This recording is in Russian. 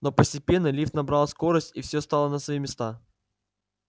но постепенно лифт набрал скорость и всё стало на свои места